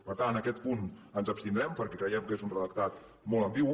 per tant en aquest punt ens abstindrem perquè creiem que és un redactat molt ambigu